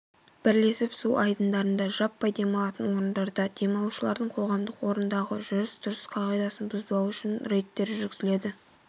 бірлесіп су айдындарында жаппай демалатын орындарда демалушылардың қоғамдық орындағы жүріс-тұрыс қағидасын бұзбауы үшін рейдтер жүргізіледі